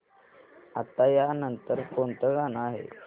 आता या नंतर कोणतं गाणं आहे